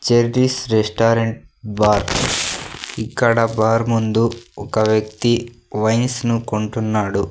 Cherries restaurant bar ఇక్కడ bar ముందు ఒక వ్యక్తి వైన్స్ ను కొంటున్నాడు.